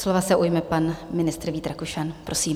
Slova se ujme pan ministr Vít Rakušan, prosím.